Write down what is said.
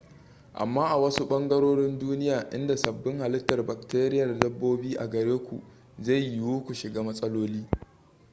amma a wasu ɓangarorin duniya inda sabin halittar bakteriyar dabbobin a gare ku zai yiwu ku shiga matsaloli